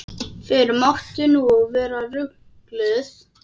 Fyrr mátti nú vera ruglið!